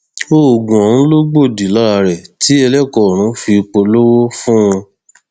oògùn ọhún ló gbòdì lára rẹ tí ẹlẹkọ ọrun fi polówó fún un